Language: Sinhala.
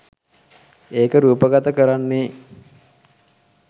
ඒක රූපගත කරන්නේ